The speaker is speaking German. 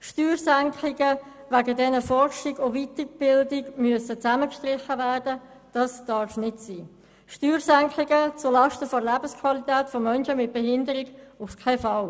Steuersenkungen, wegen denen Forschung und Weiterbildung zusammengestrichen werden müssen, dürfen nicht sein, Steuersenkungen zulasten der Lebensqualität von Menschen mit einer Behinderung auf keinen Fall.